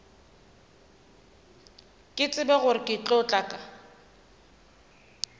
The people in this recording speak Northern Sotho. ke tsebe gore ke tla